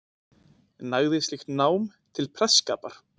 Nægði slíkt nám til prestsskapar.